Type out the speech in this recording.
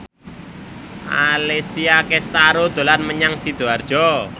Alessia Cestaro dolan menyang Sidoarjo